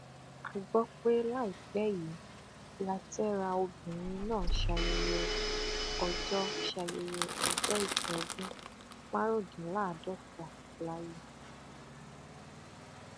a gbọ pé láìpẹ yìí látẹra obìnrin náà ṣayẹyẹ ọjọ ṣayẹyẹ ọjọ ìbí ọdún márùndínláàádọta láyé